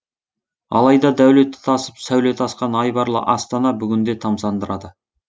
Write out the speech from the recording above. алайда дәулеті тасып сәулеті асқан айбарлы астана бүгінде тамсандырады